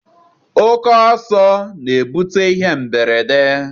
Oke ọsọ na-ebute ihe mberede.